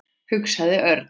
hugsaði Örn.